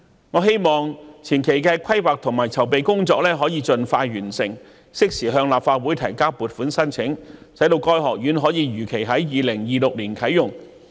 我希望前期的規劃和籌備工作可以盡快完成，適時向立法會提交撥款申請，使該學院可以如期在2026年啟用。